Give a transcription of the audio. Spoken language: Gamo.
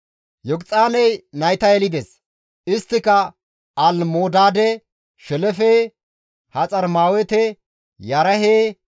Yoqixaaney nayta yelides; isttika Almodaade, Shelefe, Haxarmaawete, Yerahe,